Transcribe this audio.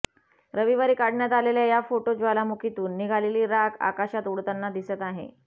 रविवारी काढण्यात आलेल्या या फोटो ज्वालामुखीतून निघालेली राख आकाशात उडताना दिसत आहे